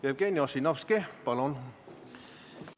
Jevgeni Ossinovski, palun!